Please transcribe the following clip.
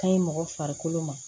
Ka ɲi mɔgɔ farikolo ma